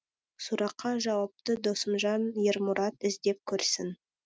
сұраққа жауапты досымжан ермұрат іздеп көрсін